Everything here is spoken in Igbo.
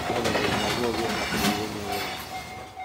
Ma, o nwere ike ọ bụghị gị kpatara iwe na - ewe ya.